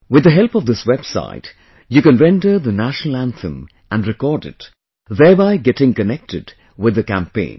With the help of this website, you can render the National Anthem and record it, thereby getting connected with the campaign